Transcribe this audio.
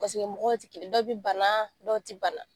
mɔgɔ tɛ kelen dɔ bɛ bana dɔw tɛ bana